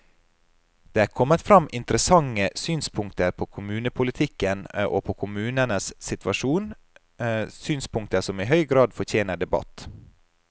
Det er kommet frem interessante synspunkter på kommunepolitikken og på kommunenes situasjon, synspunkter som i høy grad fortjener debatt.